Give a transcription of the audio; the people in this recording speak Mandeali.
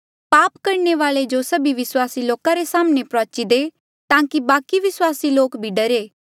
पाप करणे वाले जो सभी विस्वासी लोका रे साम्हणें प्रुआची दे ताकि बाकि विस्वासी लोक भी डरे